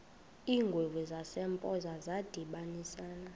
iingwevu zasempoza zadibanisana